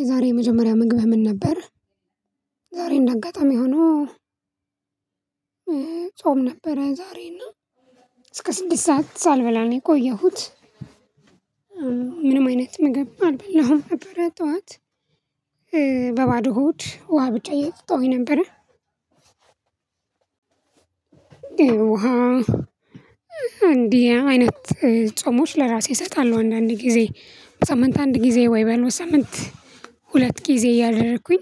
የዛሬ የመጀመሪያ ምግብ ምን ነበር? ዛሬ እንደ አጋጣሚ ሆኖ ጾም ነበረ ዛሬና እስከ ስድስት ሰዓት ሳልበላ ነው የቆየሁት ቆየሁት። ምንም አይነት ምግብ አልበላሁም ነበረ ጠዋት በባዶ ሆድ ውሃ ብቻ እየጠጣውኝ ነበረ። እንዲህ አይነት ጾሞች ለራሴ እሰጣለሁ አንዳንድ ጊዜ በሳምንት አንድ ጊዜ ወይ ሳምንት ሁለት ጊዜ እያደረኩኝ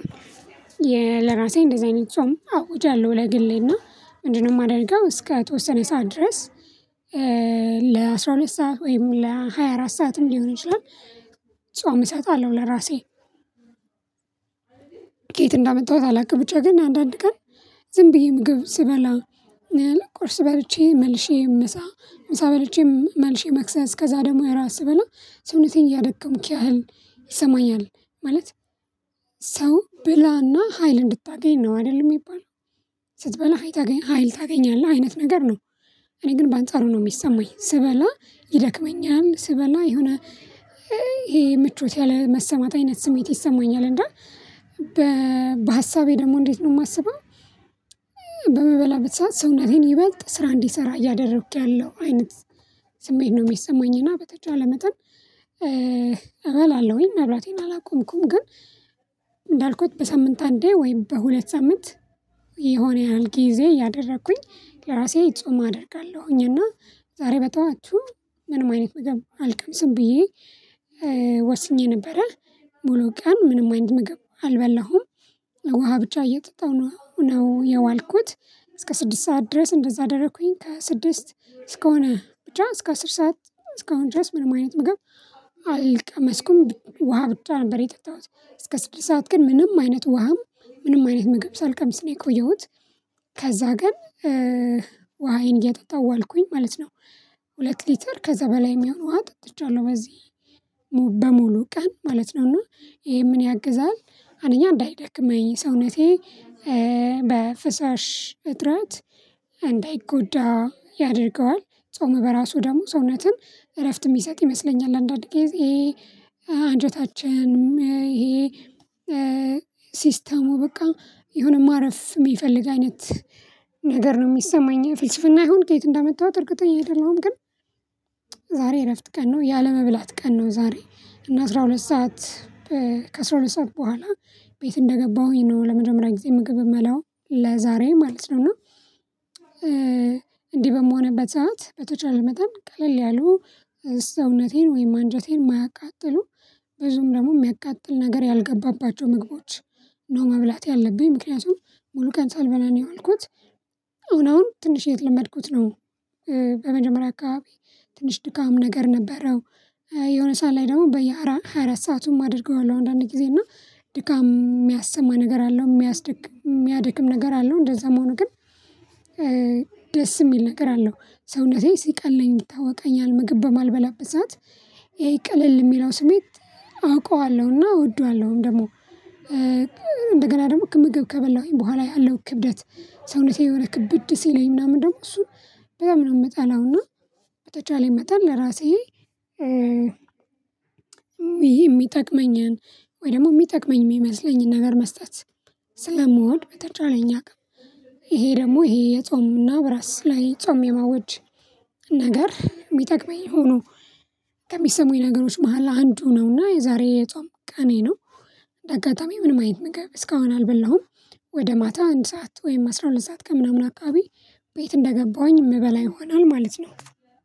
ለራሴ እንደዚህ አይነት ጾም አውጃለሁ ለግሌና ምንድነው የማደርገው እስከ ተወሰነ ሰዓት ድረስ። ለአሥራ ሁለት ሰዓት ወይም ሃያ አራት ሰዓትም ሊሆን ይችላል። ጾም እሰጣለው ለራሴ። ከየት እንዳመጣሁት አላውቅም። ብቻ ግን አንዳንድ ቀን ዝም ብዬ ምግብ ስበላ ቁርስ በልቼ መልሼ ምሳ ምሳ በልቼ መልሼ መክሰስ ከዛ ደግሞ ራት ስበላ ሰውነቴን እያደከምክ ያህል ይሰማኛል። ማለት ሰው ብላና ሀይል እንድታገኝ ነው አይደለም የሚባል። ስትበላ ሀይል ታገኛለህ አይነት ነገር ነው። እኔ ግን በአንጻሩ ነው የሚሰማኝ ስበላ ይደክመኛል ስበላ የሆነ ይሄ ምቾት ያለመሰማት አይነት ስሜት ይሰማኛል። እንደ በሀሳቤ ደግሞ እንዴት ነው የማስበው? በምበላበት ሰዓት ሰውነቴን ይበልጥ ስራ እንዲሰራ እያደረኩኝ ያለው አይነት ስሜት ነው የሚሰማኝ። እና በተቻለ መጠን እበላለሁኝ መብላቴን አላቆምኩም ግን። እንዳልኩት በሳምንት አንዴ ወይም በሁለት ሳምንት የሆነ ያህል ጊዜ ያደረኩኝ ለራሴ ጾም አደርጋለሁኝ። እና ዛሬ በጠዋቱ ምንም አይነት ምግብ አልቀምስም ብዬ ወስኜ ነበረ። ሙሉ ቀን ምንም አይነት ምግብ አልበላሁም ውሃ ብቻ እየጠጣሁ ነው ነው የዋልኩት። እስከ ስድስት ሰዓት ድረስ እንደዛ አደረኩኝ ከስድስት ስድስት እስከሆነ ብቻ እስከ አስር ሰዓት እስከሆነ ድረስ ምንም አይነት ምግብ አልቀመስኩም ውሃ ብቻ ነበር የጠጣሁት። እስከ ስድስት ሰዓት ግን ምንም አይነት ውሃም ምንም አይነት ምግብ ሳልቀምስ ነው የቆየሁት። ከዛ ግን ውሃዬን እያጠጣሁ ዋልኩኝ ማለት ነው። ሁለት ሊትር ከዛ በላይ የሚሆን ውሃ ጠጥቼዋለሁ። በዚህ በሙሉ ቀን ማለት ነው። እና ይሄ ምን ያግዛል አንደኛ እንዳይደክመኝ ሰውነቴ በፍሳሽ እጥረት እንዳይጎዳ ያደርገዋል። ጾም በራሱ ደግሞ ሰውነትም እረፍት የሚሰጥ ይመስለኛል። አንዳንዴ አንጀታችንን ይሄ ሲስተሙ በቃ የሆነ ማረፍ የሚፈልግ አይነት ነገር ነው የሚሰማኝ። የፍልስፍና ይሁን ከየት እንዳመጣሁት እርግጠኛ እሄዳለሁኝ ግን። ዛሬ እረፍት ቀን ነው ያለመብላት ቀን ነው። ዛሬ እና አስራ ሁለት ሰዓት ከአስራ ሁለት ሰዓት በኋላ ቤት እንደገባሁኝ ነው። ለመጀመሪያ የጤና ምግብ የምለው ለዛሬ ማለት ነው። እና እንዲህ በምሆንበት ሰዓት በተቻለ መጠን ቀለል ያሉ ሰውነቴን ወይም አንጀቴን ማያቃጥሉ ብዙም ደግሞ የሚያቃጥል ነገር ያልገባባቸው ምግቦች። ነው መብላት ያለብኝ ምክንያቱም ሙሉ ቀን ሳልበላ ነው ያልኩት። አሁን አሁን ትንሽ እየተላመድኩት ነው። በመጀመሪያ አካባቢ ትንሽ ድካም ነገር ነበረው። የሆነ ሰዓት ላይ ደግሞ በየአራት ሰአቱም አድርገዋለሁ አንዳንዴ ጊዜ እና ድካም የሚያሰማ ነገር አለው የሚያድክም ነገር አለው። እንደዛም ሆኖ ግን። ደስ የሚል ነገር አለው ሰውነቴ ሲቀለኝ ይታወቀኛል። ምግብ በማልበላበት ሰዓት ይሄ ቅልል የሚለው ስሜት አውቀዋለሁና እወደዋለሁም ደግሞ። እንደገና ደግሞ ምግብ ከበላሁኝ በኋላ ያለው ክብደት ሰውነቴ የሆነ ክብድ ሲለኝ ምናምን ደግሞ እሱ በጣም ነው የምጠላውና። በተቻለኝ መጠን ለራሴ ይሄ የሚጠቅመኝን ወይ ደግሞ የሚጠቅመኝ የሚመስለኝን ነገር መስጠት። ስለምወድ በተቻለኝ አቅም ይሄ ደግሞ ይሄ የጾምና ነው በራስ ላይ ጾም የማወጅ ነገር የሚጠቅመኝ ሆኖ። ከሚሰሙኝ ነገሮች መሃል አንዱ ነው። እና የዛሬ የጾም ቀኔ ነው። እንደ አጋጣሚ ምንም አይነት ነገር እስካሁን አልበላሁም። ወደ ማታ አንድ ሰዓት ወይም አስራ ሁለት ሰዓት ከምናምን አካባቢ ቤት እንደገባሁኝ የምበላ ይሆናል ማለት ነው።